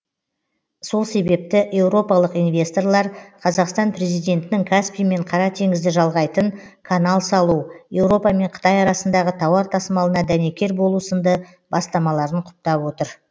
сол себепті еуропалық инвесторлар қазақстан президентінің каспий мен қара теңізді жалғайтын канал салу еуропа мен қытай арасындағы тауар тасымалына дәнекер болу сынды бастамаларын құптап отыр